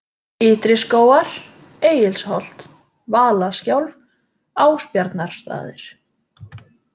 Ytri-Skógar, Egilsholt, Valaskjálf, Ásbjarnarstaðir